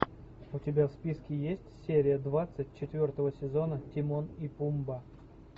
у тебя в списке есть серия двадцать четвертого сезона тимон и пумба